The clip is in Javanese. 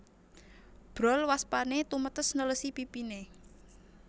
Brol waspané tumetes nelesi pipiné